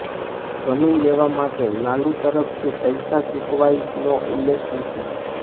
જમીન લેવા માટે લાલુ તરફથી પૈસા ચૂકવાયાનો ઉલ્લેખ નથી